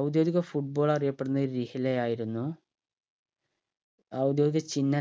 ഔദ്യോഗിക football അറിയപ്പെടുന്നത് രിഹ്ലയായിരുന്നു ഔദ്യോഗിക ചിഹ്നം